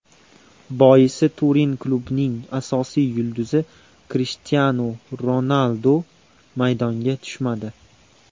Boisi, Turin klubining asosiy yulduzi Krishtianu Ronaldu maydonga tushmadi.